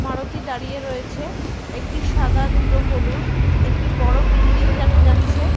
মারুতি দাঁড়িয়ে রয়েছে। একটি সাদা দুটো হলুদ। একটি বড় বিল্ডিং দেখা যাচ্ছে।